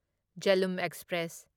Jhelum express